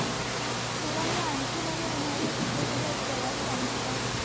तुला मी आणखी माझ्या उन्हया च्या सुट्या त ला प्रवास सांगू का